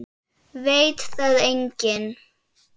Veit það enginn?